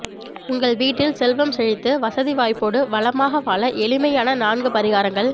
உங்கள் வீட்டில் செல்வம் செழித்து வசதி வாய்ப்போடு வளமாக வாழ எளிமையான நான்கு பரிகாரங்கள்